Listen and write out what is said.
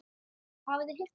Hafið þið heyrt það?